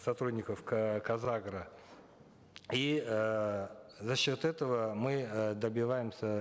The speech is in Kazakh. сотрудников казагро и э за счет этого мы э добиваемся